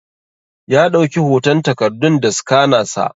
Ya dauki hoton takardun da scanner sa.